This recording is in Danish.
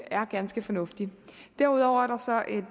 er ganske fornuftig derudover